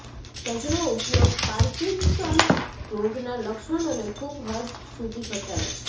તજનો ઉપયોગ પાર્કિન્સન રોગના લક્ષણોને ખૂબ હદ સુધી ઘટાડે છે